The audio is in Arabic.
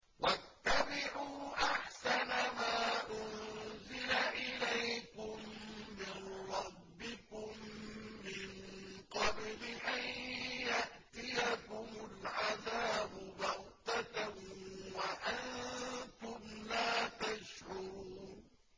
وَاتَّبِعُوا أَحْسَنَ مَا أُنزِلَ إِلَيْكُم مِّن رَّبِّكُم مِّن قَبْلِ أَن يَأْتِيَكُمُ الْعَذَابُ بَغْتَةً وَأَنتُمْ لَا تَشْعُرُونَ